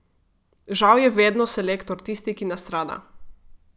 Žal je vedno selektor tisti, ki nastrada.